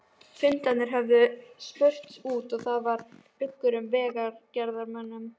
Fundirnir höfðu spurst út og það var uggur í vegagerðarmönnum.